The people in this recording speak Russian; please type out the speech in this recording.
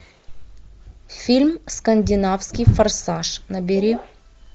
фильм скандинавский форсаж набери